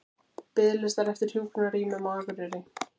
Biðlistar eftir hjúkrunarrýmum á Akureyri